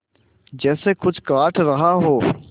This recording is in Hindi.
जैसे कुछ काट रहा हो